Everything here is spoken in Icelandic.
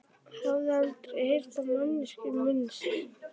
Hafði aldrei heyrt á manneskjuna minnst.